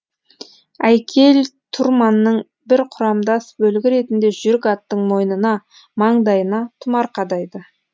әйкел тұрманның бір құрамдас бөлігі ретінде жүйрік аттың мойнына маңдайына тұмар қадайды